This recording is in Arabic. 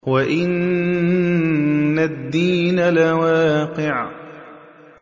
وَإِنَّ الدِّينَ لَوَاقِعٌ